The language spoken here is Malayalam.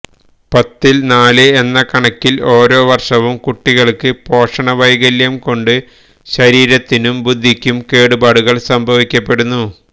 പത്തില് നാല് എന്ന കണക്കില് ഓരോവര്ഷവും കുട്ടികള്ക്ക് പോഷണവൈകല്യം കൊണ്ട് ശരീരത്തിനും ബുദ്ധിയ്ക്കും കേടുപാടുകള് സംഭവിക്കപ്പെടുന്നു